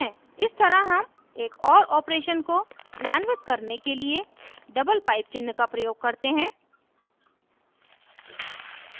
इस तरह हम एक or operation को क्रियान्वित करने के लिए double pipe चिन्ह का प्रयोग करते हैं